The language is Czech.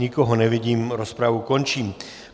Nikoho nevidím, rozpravu končím.